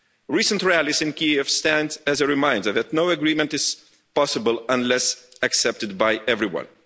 Recent rallies in Kiev stand as a reminder that no agreement is possible unless accepted by everyone.